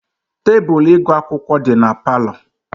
Tebụl ịgụ akwụkwọ dị na palọ.